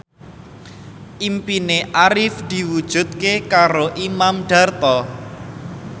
impine Arif diwujudke karo Imam Darto